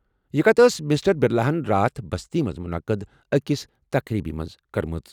یہِ کَتھ ٲس مسٹر بِرلاہن راتھ بستی منٛز مُنعقد أکِس تقریٖبہِ منٛز کٔرمٕژ۔